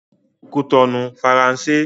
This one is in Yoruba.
Kútọnu - Faransé